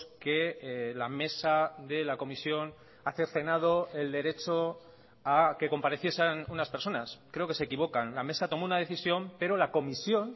que la mesa de la comisión ha cercenado el derecho a que compareciesen unas personas creo que se equivocan la mesa tomó una decisión pero la comisión